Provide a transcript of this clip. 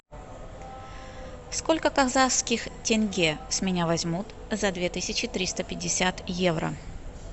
сколько казахских тенге с меня возьмут за две тысячи триста пятьдесят евро